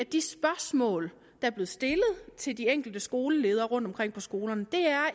de spørgsmål er blevet stillet til de enkelte skoleledere rundtomkring på skolerne